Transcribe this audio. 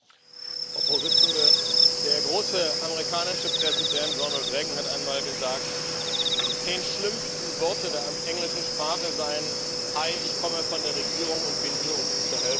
Frau Präsidentin! Der große amerikanische Präsident Ronald Reagan hat einmal gesagt, die zehn schlimmsten Worte der englischen Sprache seien Hi, ich komme von der Regierung und bin hier, um Ihnen zu helfen.